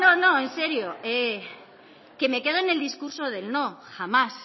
no en serio que me quedo en el discurso del no jamás